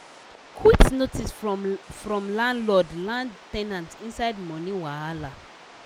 quit notice from from landlord land ten ant inside money wahala